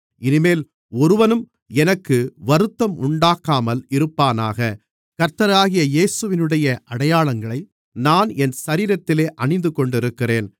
இனிமேல் ஒருவனும் எனக்கு வருத்தம் உண்டாக்காமல் இருப்பானாக கர்த்தராகிய இயேசுவினுடைய அடையாளங்களை நான் என் சரீரத்திலே அணிந்துகொண்டிருக்கிறேன்